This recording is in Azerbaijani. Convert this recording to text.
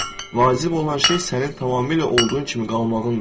Vacib olan şey sənin tamamilə olduğun kimi qalmağındır.